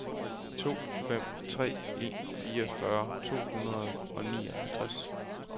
to fem tre en fireogfyrre to hundrede og nioghalvtreds